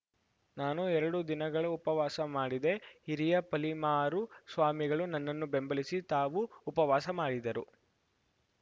ನಾನು ಎರಡು ದಿನಗಳ ಉಪವಾಸ ಮಾಡಿದೆ ಹಿರಿಯ ಪಲಿಮಾರು ಸ್ವಾಮಿಗಳು ನನ್ನನ್ನು ಬೆಂಬಲಿಸಿ ತಾವೂ ಉಪವಾಸ ಮಾಡಿದರು